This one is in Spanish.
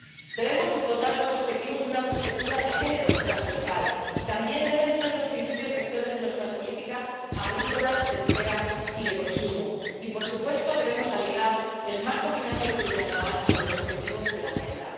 Debemos dotar a los Objetivos de Desarrollo Sostenible de una perspectiva de género transversal, y también deben ser los principios rectores de nuestras políticas agrícolas, pesqueras y de consumo, y, por supuesto, debemos alinear el marco financiero plurianual con los objetivos de la Agenda.